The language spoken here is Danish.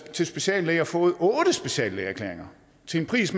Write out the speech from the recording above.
til speciallæger og fået otte speciallægeerklæringer til en pris